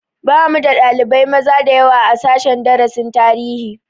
Bamu da ɗalibai maza dayawa a sashen darasin tarihi